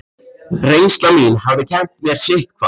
Reynsla mín hafði kennt mér sitthvað.